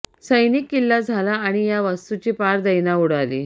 सैनिक किल्ला झाला आणि या वास्तूची पार दैना उडाली